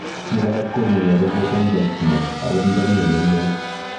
Biik alak kong'ui arubut eng chakchinet angot ndamii oleloo